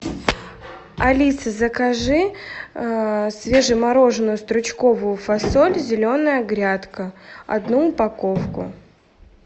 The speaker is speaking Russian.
алиса закажи свежемороженную стручковую фасоль зеленая грядка одну упаковку